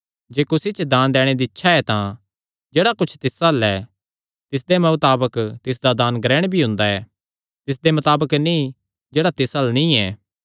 जे कुसी च दान दैणे दी इच्छा ऐ तां जेह्ड़ा कुच्छ तिस अल्ल ऐ तिसदे मताबक तिसदा दान ग्रहण भी हुंदा ऐ तिसदे मताबक नीं जेह्ड़ा तिस अल्ल नीं ऐ